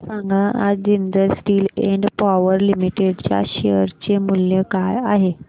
मला सांगा आज Jindal steel and power limited च्या शेअर चे मूल्य काय आहे